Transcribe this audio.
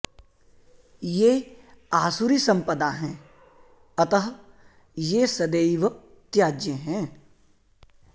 ये आसुरी सम्पदा हैं अतः ये सदैव त्याज्य हैं